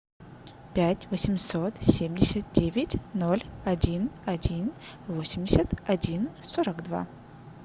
пять восемьсот семьдесят девять ноль один один восемьдесят один сорок два